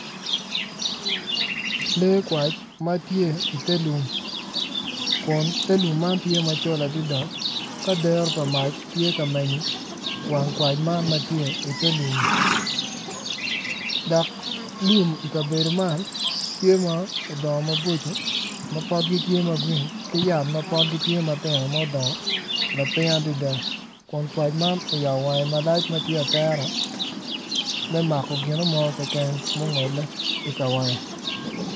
Lee kwac ma tye i te lum, te lum man tye macol adada ka dero pa mac tye ka menyo wang kwac man ma tye i te lummi dok lum i kabedo man tye ma odongo maboco ma potgi tye ma green ki yat ma pogi tye ma tino lapiny adada kun kwac man oyabo wang malac ma tye atera me mako ginu mo keken ma ongole i kawange.